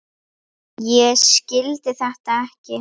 Ég skildi þetta ekki.